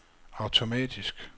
automatisk